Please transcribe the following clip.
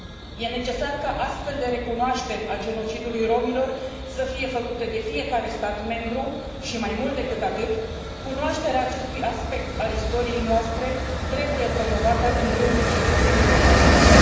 Este necesar ca astfel de recunoașteri ale genocidului romilor să fie făcute de fiecare stat membru și, mai mult decât atât, cunoașterea acestui aspect al istoriei noastre trebuie promovată în rândul cetățenilor europeni.